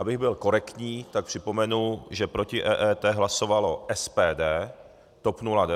Abych byl korektní, tak připomenu, že proti EET hlasovalo SPD, TOP 09 a ODS.